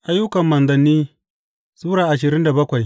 Ayyukan Manzanni Sura ashirin da bakwai